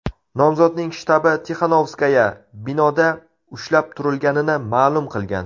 Nomzodning shtabi Tixanovskaya binoda ushlab turilganini ma’lum qilgan.